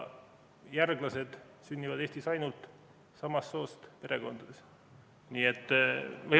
Järglased sünnivad Eestis ainult samast soost perekondades.